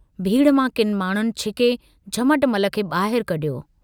भीड़ मां किन माण्डुनि छिके झमटमल खे बाहिर कढियो।